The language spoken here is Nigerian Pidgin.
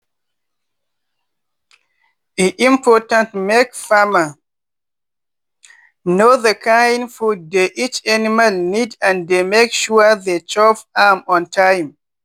chicken go use leg dey scratch ground dey find feed wey remain and small stone wey dey go chop.